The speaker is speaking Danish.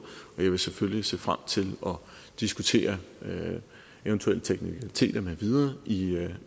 og jeg vil selvfølgelig se frem til at diskutere eventuelle teknikaliteter med videre i